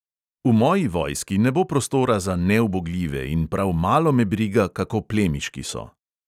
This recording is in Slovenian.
V moji vojski ne bo prostora za neubogljive in prav malo me briga, kako plemiški so.